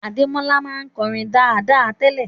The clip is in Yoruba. Adémọ́lá ma n korin dáradára tele